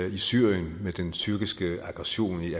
i syrien med den tyrkiske aggression i